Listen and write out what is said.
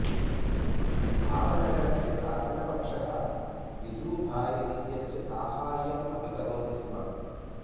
भावनगरस्य शासनपक्षः गिजुभाई इत्यस्य साहाय्यम् अपि करोति स्म